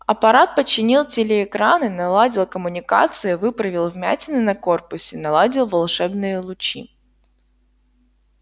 аппарат починил телеэкраны наладил коммуникации выправил вмятины на корпусе наладил волшебные лучи